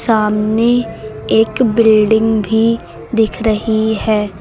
सामने एक बिल्डिंग भी दिख रही है।